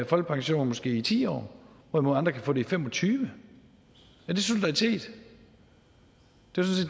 folkepension i måske ti år hvorimod andre kan få den i fem og tyve år er det solidaritet